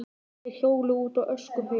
Þeir hjóluðu út á öskuhauga.